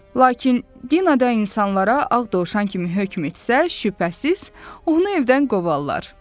Lakin Dina da insanlara ağ dovşan kimi hökm etsə, şübhəsiz, onu evdən qovarlar.